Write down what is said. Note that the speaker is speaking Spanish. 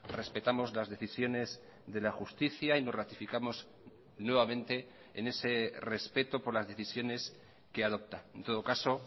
respetamos las decisiones de la justicia y nos ratificamos nuevamente en ese respeto por las decisiones que adopta en todo caso